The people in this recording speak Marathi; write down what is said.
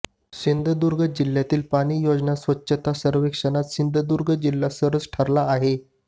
सिंधुदुर्ग जिल्ह्यातील पाणी योजना स्वच्छता सर्वेक्षणात सिंधुदुर्ग जिल्हा सरस ठरला आहे